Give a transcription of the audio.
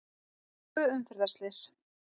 Tvö umferðarslys